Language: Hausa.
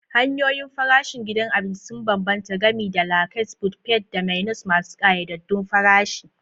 Hanyoyin farashin gidan abinci sun bambanta, gami da la carte, buffet, da menus masu ƙayyadaddun farashi.